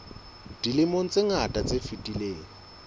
dilemong tse ngata tse fetileng